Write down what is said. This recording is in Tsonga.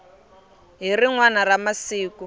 hi rin wana ra masiku